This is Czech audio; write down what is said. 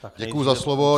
Děkuji za slovo.